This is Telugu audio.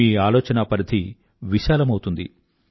మీ ఆలోచనా పరిథి విశాలమవుతుంది